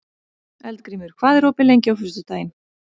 Eldgrímur, hvað er opið lengi á föstudaginn?